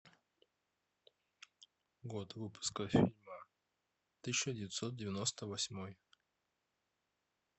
год выпуска фильма тысяча девятьсот девяносто восьмой